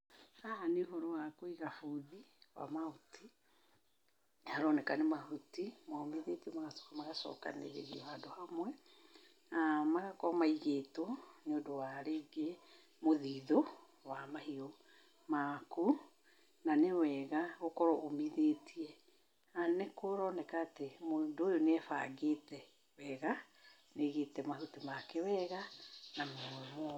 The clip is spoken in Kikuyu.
Haha nĩ ũhoro wa kũiga bũthi wa mahuti, nĩ haroneka nĩ mahuti momithĩtio magacoka magacokanĩrĩrio handũ hamwe, na magakorwo maigĩtwo nĩundũ wa rĩngĩ mũthithũ wa mahiũ maku, na nĩ wega gũkorwo ũmithĩtie, na nĩ kũroneka atĩ mũndũ ũyũ nĩ ebangĩte wega, nĩ aigĩte mahuti make wega na momũ.